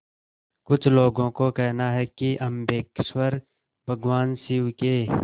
कुछ लोगों को कहना है कि अम्बकेश्वर भगवान शिव के